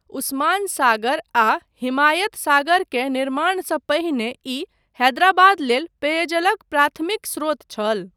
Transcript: उस्मान सागर आ हिमायत सागर के निर्माणसँ पहिने ई हैदराबाद लेल पेयजलक प्राथमिक स्रोत छल।